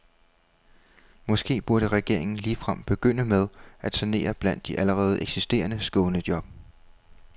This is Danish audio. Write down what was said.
Måske burde regeringen ligefrem begynde med at sanere blandt de allerede eksisterende skånejob.